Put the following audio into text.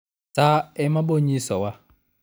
saa emabonyiso wa